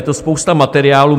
Je to spousta materiálů.